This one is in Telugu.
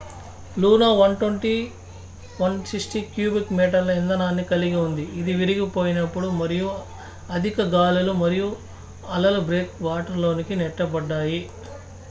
లూనో 120-160 క్యూబిక్ మీటర్ల ఇంధనాన్ని కలిగి ఉంది ఇది విరిగిపోయినప్పుడు మరియు అధిక గాలులు మరియు అలలు బ్రేక్ వాటర్ లోనికి నెట్టబడ్డాయి